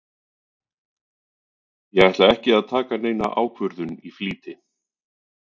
Ég ætla ekki að taka neina ákvörðun í flýti.